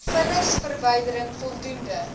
vullisverwyderin voldoende g